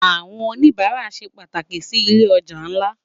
Awòn ónibàrá sé pàtáki si ilé òjá nlá